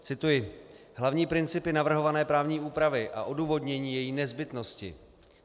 Cituji: Hlavní principy navrhované právní úpravy a odůvodnění její nezbytnosti.